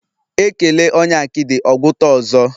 Ekele onye akidi, ogwuta ọzọ